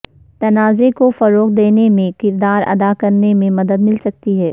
تنازعے کو فروغ دینے میں کردار ادا کرنے میں مدد مل سکتی ہے